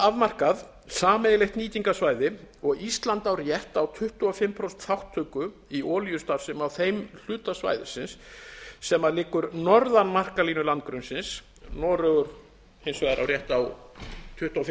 afmarkað sameiginlegt nýtingarsvæði og á ísland rétt á tuttugu og fimm prósent þátttöku í olíustarfsemi á þeim hluta svæðisins sem liggur norðan markalínu landgrunnsins noregur hins vegar á rétt á tuttugu og fimm